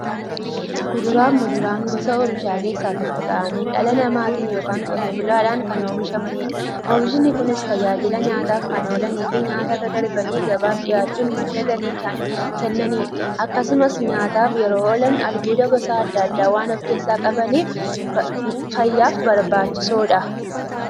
Kuduraafi muduraan gosa oomishaa keessaa tokko ta'anii, dhala namaatin yookiin Qotee bulaadhan kan oomishamaniidha. Oomishni Kunis, tajaajila nyaataf kan oolaniifi nyaatarra darbanii gabaaf dhiyaachuun madda galii kan kennaniidha. Akkasumas nyaataf yeroo oolan, albuuda gosa adda addaa waan qabaniif, fayyaaf barbaachisoodha.